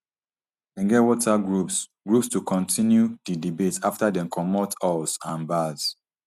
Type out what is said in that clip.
dem get whatsapp groups groups to kontinu di debate afta dem comot halls and bars